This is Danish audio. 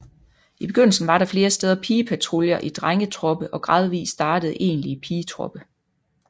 I begyndelsen var der flere steder pigepatruljer i drengetroppe og gradvist startede egentlige pigetroppe